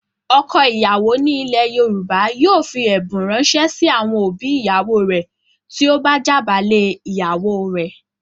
Ọkọ ìyàwó ni ilẹ̀ Yorùbá yóò fi ẹ̀bùn ránṣẹ́ sí àwọn òbí ìyàwó rẹ̀ tí ó bá jàbálé ìyàwó rẹ̀.